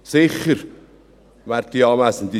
Sicher, werte Anwesende: